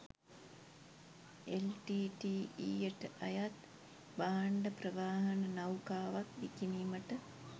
එල්.ටී.ටී.ඊ.යට අයත් භාණ්ඩ ප්‍රවාහන නෞකාවක් විකිණීමට